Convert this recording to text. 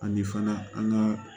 Ani fana an ka